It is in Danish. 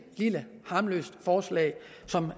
lille harmløst forslag som